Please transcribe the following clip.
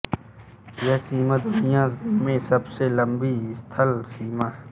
यह सीमा दुनिया में सबसे लम्बी स्थल सीमा है